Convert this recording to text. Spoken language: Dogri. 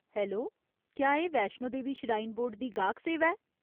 हैलो ! क्या एह् वैश्णो देवी श्राइन बोर्ड दी गाह्क सेवा ऐ ?